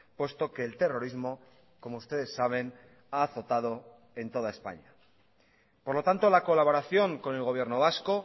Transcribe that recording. puesto que el terrorismo como ustedes saben ha azotado en toda españa por lo tanto la colaboración con el gobierno vasco